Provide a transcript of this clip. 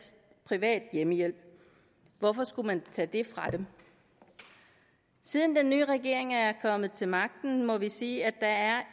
privat hjemmehjælp hvorfor skulle man tage det fra dem siden den nye regering er kommet til magten må vi sige at